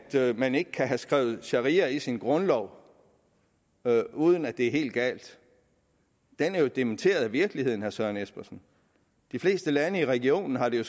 man ikke kan have skrevet sharia ind i sin grundlov uden at det er helt galt er jo dementeret af virkeligheden herre søren espersen de fleste lande i regionen har det